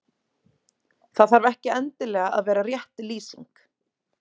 Það þarf ekki endilega að vera rétt lýsing.